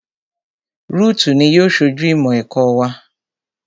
Rúùtù ni yóò ṣojú ìmọ̀ ẹ̀kọ́ wa